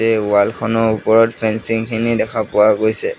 এই ৱালখনৰ ওপৰত ফেঞ্চিংখিনি দেখা পোৱা গৈছে।